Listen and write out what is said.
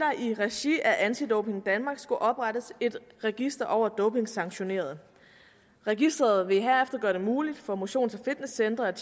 i regi af anti doping danmark skulle oprettes et register over dopingsanktionerede registeret vil herefter gøre det muligt for motions og fitnesscentre at